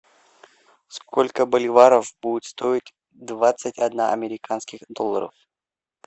сколько боливаров будет стоить двадцать одна американских долларов